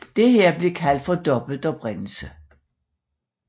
Dette blev kaldt for dobbelt oprindelse